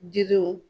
Jiriw